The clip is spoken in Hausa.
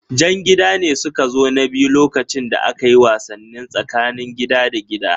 Jan gida ne suka zo na biyu lokacin da akayi wasannin tsakanin gida da gida